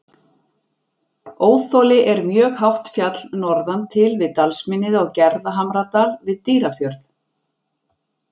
Óþoli er mjög hátt fjall norðan til við dalsmynnið á Gerðhamradal við Dýrafjörð.